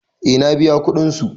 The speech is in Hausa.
Eh na biya kudin su.